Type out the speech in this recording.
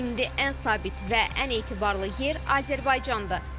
İndi ən sabit və ən etibarlı yer Azərbaycandır.